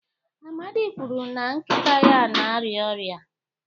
Amadi kwuru na nkịta ya na-arịa ọrịa.